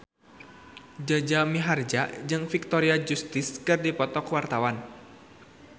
Jaja Mihardja jeung Victoria Justice keur dipoto ku wartawan